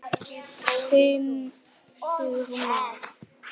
Þinn Sigmar.